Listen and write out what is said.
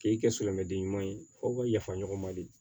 K'i kɛ silamɛden ɲuman ye f'o ka yafa ɲɔgɔn ma de